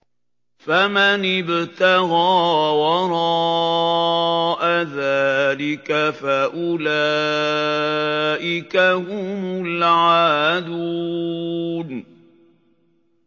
فَمَنِ ابْتَغَىٰ وَرَاءَ ذَٰلِكَ فَأُولَٰئِكَ هُمُ الْعَادُونَ